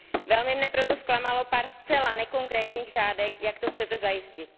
Velmi mne proto zklamalo pár zcela nekonkrétních řádek, jak to chcete zajistit.